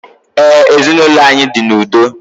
Ee, ezinaụlọ anyị dị n'udo